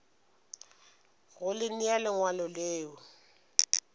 go le nea lengwalo le